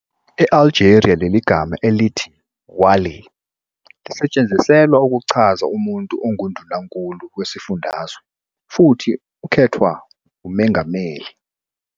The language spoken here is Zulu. e-Algeria, leligama elithi Wāli lisetshenziselwa ukuchaza umuntu ongu-Ndunankulu wesifundazwe futhi ukhethwa umengameli.